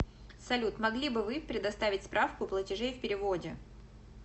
салют могли бы вы предоставить справку платежей в переводе